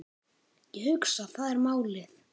Ég hugsa, það er málið.